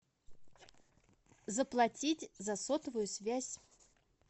заплатить за сотовую связь